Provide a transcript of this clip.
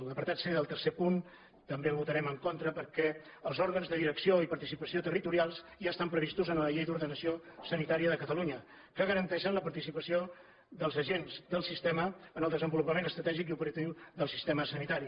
l’apartat c del tercer punt també el votarem en contra perquè els òrgans de direcció i participació territorials ja estan previstos en la llei d’ordenació sanitària de catalunya que garanteixen la participació dels agents del sistema en el desenvolupament estratègic i opera·tiu del sistema sanitari